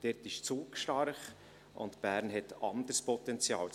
Dort ist Zug stark und Bern hat anderes Potenzial.